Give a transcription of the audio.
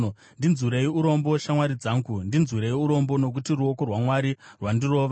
“Ndinzwirei urombo, shamwari dzangu, ndinzwirei urombo nokuti ruoko rwaMwari rwandirova.